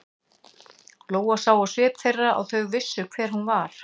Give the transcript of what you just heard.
Lóa sá á svip þeirra að þau vissu hver hún var.